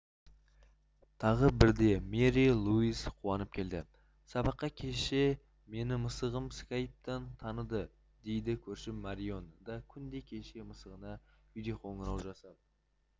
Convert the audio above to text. тағы бірде мэри луиз қуанып келді сабаққа кеше мені мысығым скайптан таныды дейді көршім марион да күнде кешке мысығына видеоқоңырау жасап